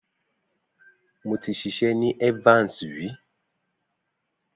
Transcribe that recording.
Mo ti ṣiṣẹ́ ni Evans rí.